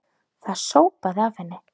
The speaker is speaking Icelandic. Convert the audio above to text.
Það sópaði af henni.